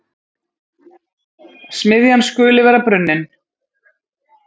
smiðjan skuli vera brunnin.